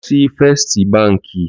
Lò si Fèstí bànkí